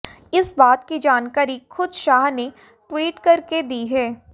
इस बात की जानकारी खुद शाह ने ट्वीट करके दी है